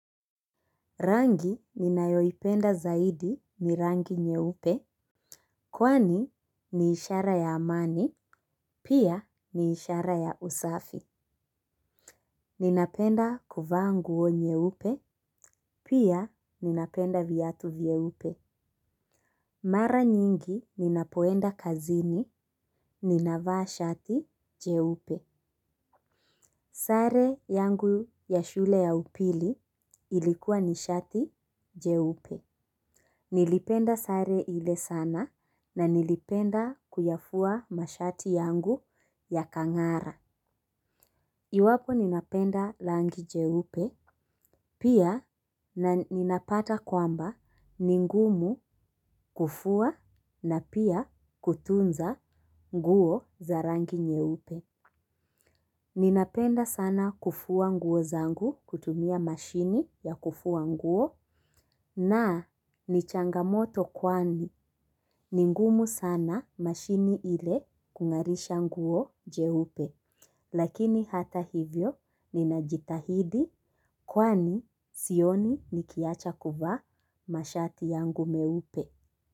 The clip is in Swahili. Rangi ninayoipenda zaidi ni rangi nyeupe. Kwani ni ishara ya amani. Pia ni ishara ya usafi. Ninapenda kuvaa nguo nyeupe. Pia ninapenda viatu vyeupe. Mara nyingi ninapoenda kazini ninavaa shati jeupe. Sare yangu ya shule ya upili ilikuwa ni shati jeupe. Nilipenda sare ile sana na nilipenda kuyafua mashati yangu yakangara. Iwapo ninapenda rangi jeupe. Pia ninapata kwamba ni ngumu kufua na pia kutunza nguo za rangi nyeupe. Ninapenda sana kufua nguo zangu kutumia mashine ya kufua nguo. Na ni changamoto kwani ni ngumu sana mashine ile kungarisha nguo jeupe lakini hata hivyo ninajitahidi kwani sioni nikiacha kuvaa mashati yangu meupe.